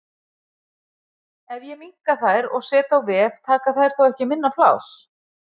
Ef ég minnka þær og set á vef taka þær þá ekki minna pláss?